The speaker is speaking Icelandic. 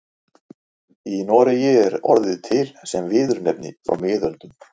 Í Noregi er orðið til sem viðurnefni frá miðöldum.